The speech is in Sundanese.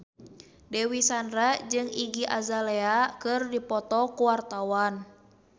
Dewi Sandra jeung Iggy Azalea keur dipoto ku wartawan